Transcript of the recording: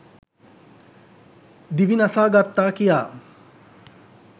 දිවි නසාගත්තා කියා